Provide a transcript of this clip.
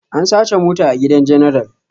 An sace mota a gidan general